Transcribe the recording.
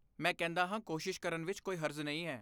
ਮੈਂ ਕਹਿੰਦਾ ਹਾਂ ਕੋਸ਼ਿਸ਼ ਕਰਨ ਵਿੱਚ ਕੋਈ ਹਰਜ਼ ਨਹੀਂ ਹੈ।